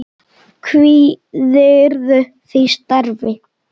Kvíðirðu því starfi?